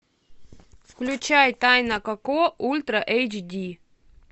включай тайна коко ультра эйч ди